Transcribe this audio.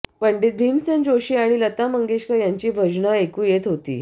पंडित भीमसेन जोशी आणि लता मंगेशकर यांची भजनं ऐकू येत होती